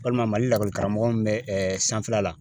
Walima Mali lakɔli karamɔgɔ min bɛ sanfɛla la.